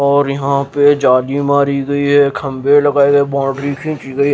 और यहाँ पे चार्जी मारी गई है खंबे लगाए गए बाउंड्री खींची गई --